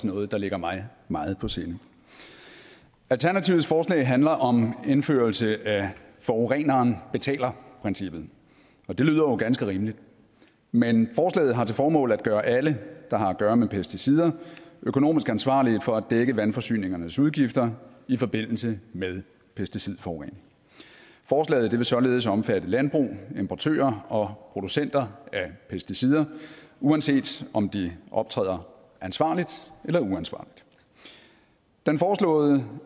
noget der ligger mig meget på sinde alternativets forslag handler om indførelse af forureneren betaler princippet og det lyder jo ganske rimeligt men forslaget har til formål at gøre alle der har at gøre med pesticider økonomisk ansvarlige for at dække vandforsyningernes udgifter i forbindelse med pesticidforurening forslaget vil således omfatte landbrug importører og producenter af pesticider uanset om de optræder ansvarligt eller uansvarligt den foreslåede